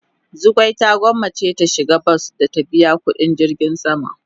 Zugwai ta gwanmace ta shiga bas da ta biya kudin jirgin sama.